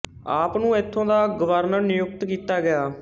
ਆਪ ਨੂੰ ਇਥੋਂ ਦਾ ਗਵਰਨਰ ਨਿਯੁਕਤ ਕੀਤਾ ਗਿਆ